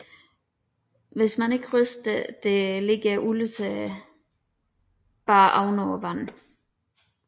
Hvis man ikke ryster det lægger olien sig blot oven på vandet